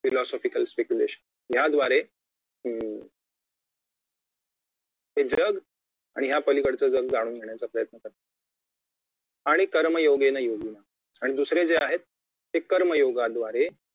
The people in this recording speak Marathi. philosophical speculation याद्वारे अं हे जग आणि यापलीकडचे जग जाणून घेण्याचा प्रयत्न करतायेत आणि कर्मयोगेन योगिनाम आणि दुसरे जे आहेत ते कर्मयोगाद्वारे